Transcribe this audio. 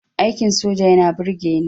Aikin soja yana burgeni